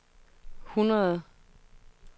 hundrede